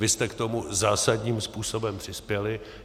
Vy jste k tomu zásadním způsobem přispěli.